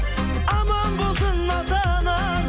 аман болсын ата анаң